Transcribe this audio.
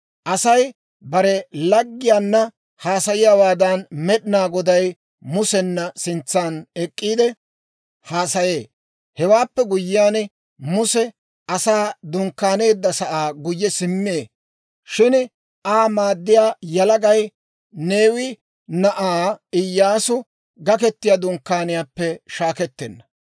Asay bare laggiyaanna haasayiyaawaadan Med'inaa Goday Musena sintsan ek'k'iide, haasayee. Hewaappe guyyiyaan Muse Asay dunkkaaneedda sa'aa guyye simmee; shin Aa maaddiyaa yalagay, Neewi na'aa Iyyaasu, Gakettiyaa Dunkkaaniyaappe shaakettenna.